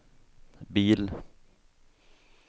bil